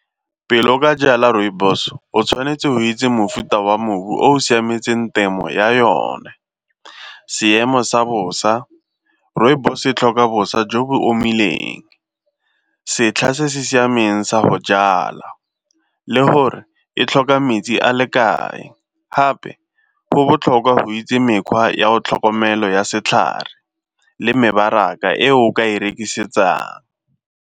Pele o ka jala rooibos o tshwanetse go itse mofuta wa mobu o o siametseng temo ya yone. Seemo sa bosa, rooibos e tlhoka bosa jo bo omileng, setlha se se siameng sa go jala le gore e tlhoka metsi a le kae, gape go botlhokwa go itse mekgwa ya tlhokomelo ya setlhare le mebaraka e o ka e rekisetsang.